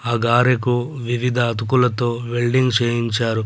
ఆ గారెకు వివిధ అతుకులతో వెల్డింగ్ చేయించారు.